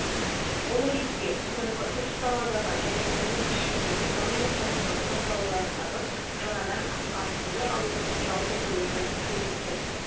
бұл ретте соңғы үш саладағы және оның ішінде экономиканың басқа салаларындағы жаңадан аққан суды алудың жалпы көлемі суретті